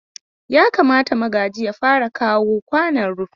Yakamata Magaji ya fara kawo kwanon rufi.